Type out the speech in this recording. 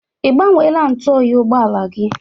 Ị gbanweela ntụ oyi ụgbọala gị?